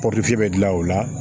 bɛ dilan o la